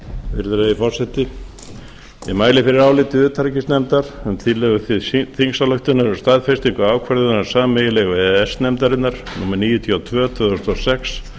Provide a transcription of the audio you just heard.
virðulegi forseti ég mæli fyrir áliti utanríkismálanefndar um tillögu til þingsályktunar um staðfestingu ákvörðunar sameiginlegu e e s nefndarinnar númer níutíu og tvö tvö þúsund og sex